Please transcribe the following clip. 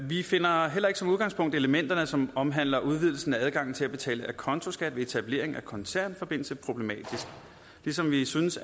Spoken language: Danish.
vi finder heller ikke som udgangspunkt elementerne som omhandler udvidelsen af adgangen til at betale acontoskat ved etablering af koncernforbindelse problematiske ligesom vi synes